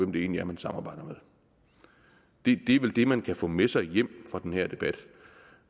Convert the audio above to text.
det egentlig er man samarbejder med det er vel det man kan få med sig hjem fra den her debat